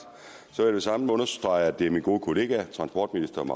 vil samme understrege at det er min gode kollega transportministeren